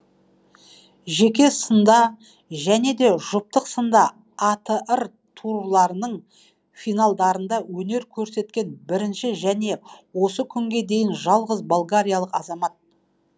жеке сында және де жұптық сында атр турларының финалдарында өнер көрсеткен бірінші және осы күнге дейін жалғыз болгариялық азамат